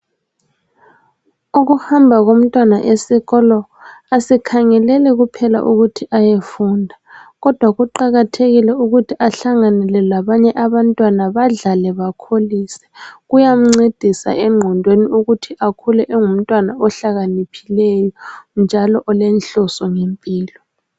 Ukuhamba komtwana esikolo asikhangeleli kuphela ukuthi ayefunda kodwa kuqakathekile ukuthi ahlanganele labanye abantwana badlale bakholise kuyamncedisa engqondweni ukuthi akhule engumtwana ohlakaniphileyo njalo olenhliso ngempilo